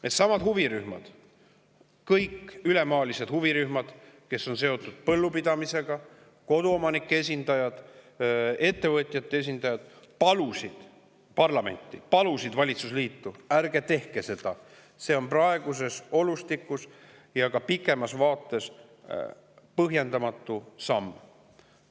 Needsamad huvirühmad, kõik need huvirühmad üle maa, kes on seotud põllupidamisega, ka koduomanike esindajad ja ettevõtjate esindajad palusid parlamenti, palusid valitsusliitu: ärge tehke seda, see on praeguses olustikus ja ka pikemas vaates põhjendamatu samm!